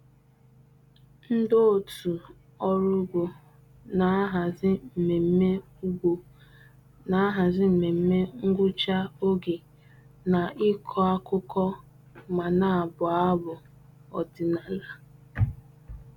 Ndị otu ọrụ ugbo na-ahazi mmemme ugbo na-ahazi mmemme ngwụcha oge na-ịkọ akụkọ ma na-abụ abụ ọdịnala.